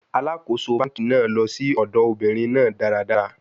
Alakoso banki naa lọ si ọdọ obinrin naa daradara